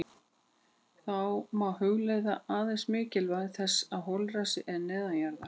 Þá má hugleiða aðeins mikilvægi þess að holræsi eru neðanjarðar.